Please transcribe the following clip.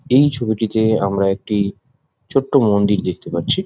এই ছবিটিতে আমরা একটি ছোট্টো মন্দির দেখতে পারছি ।